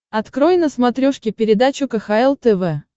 открой на смотрешке передачу кхл тв